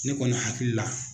Ne kɔni hakili la